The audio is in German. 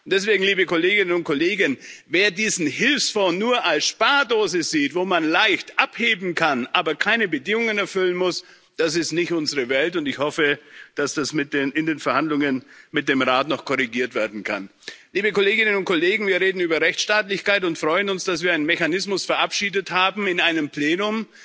Und deswegen liebe Kolleginnen und Kollegen, wer diesen Hilfsfonds nur als Spardose sieht, wo man leicht abheben kann, aber keine Bedingungen erfüllen muss das ist nicht unsere Welt, und ich hoffe, dass das in den Verhandlungen mit dem Rat noch korrigiert werden kann. Liebe Kolleginnen und Kollegen, wir reden über Rechtsstaatlichkeit und freuen uns, dass wir einen Mechanismus verabschiedet haben in einem Plenum,